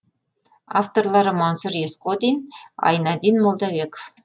авторлары мансұр есқодин айнадин молдабеков